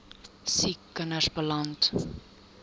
siek kinders beland